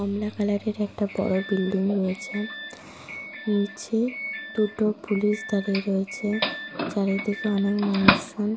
কমলা colour -এর একটা বড় বিল্ডিং রয়েছে। নিচে দুটো পুলিশ দাঁড়িয়ে রয়েছে। চারিদিকে অনেক মানুষজন।